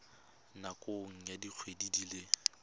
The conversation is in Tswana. nakong ya dikgwedi di le